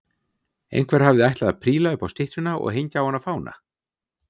Einhver hafði ætlað að príla upp á styttuna og hengja á hana fána.